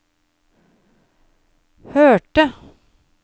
hørte